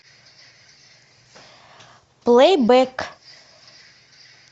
плейбэк